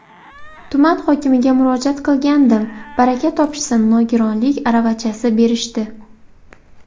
Tuman hokimiga murojaat qilgandim, baraka topishsin nogironlik aravachasi berishdi.